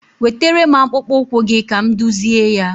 Wetere m akpụkpụ ụkwụ gị ka m dụzịe ya.